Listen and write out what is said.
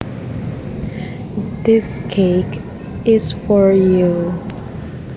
This cake is for you